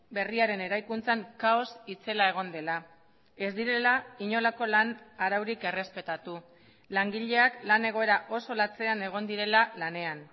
berriaren eraikuntzan kaos itzela egon dela ez direla inolako lan araurik errespetatu langileak lan egoera oso latzean egon direla lanean